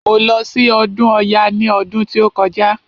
Mo lọ sí ọdún ọya ní ọdún tí ó kọjá.